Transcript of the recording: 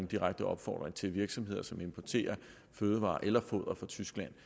direkte opfordring til virksomheder som importerer fødevarer eller foder fra tyskland